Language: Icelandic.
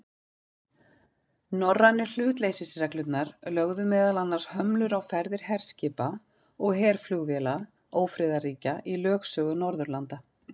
Norrænu hlutleysisreglurnar lögðu meðal annars hömlur á ferðir herskipa og herflugvéla ófriðarríkja í lögsögu Norðurlanda.